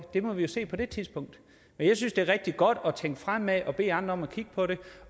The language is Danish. det må vi se på det tidspunkt jeg synes det er rigtig godt at tænke fremad og bede andre om at kigge på det